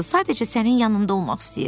“Sadəcə sənin yanında olmaq istəyirəm.”